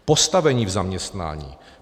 Postavení v zaměstnání.